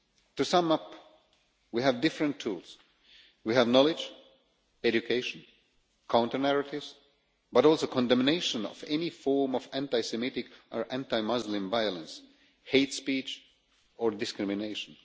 To sum up, we have different tools we have knowledge, education, counter narratives, but also condemnation of any form of anti Semitic or anti Muslim violence, hate speech or discrimination.